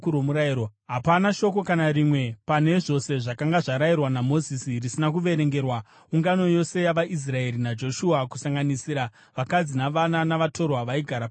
Hapana shoko kana rimwe pane zvose zvakanga zvarayirwa naMozisi, risina kuverengerwa ungano yose yavaIsraeri naJoshua, kusanganisira vakadzi navana, navatorwa vaigara pakati pavo.